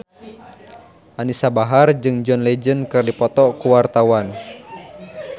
Anisa Bahar jeung John Legend keur dipoto ku wartawan